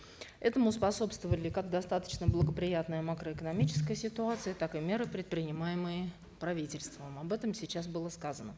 этому способствовали как достаточно благоприятная макроэкономическая ситуация так и меры предпринимаемые правительством об этом сейчас было сказано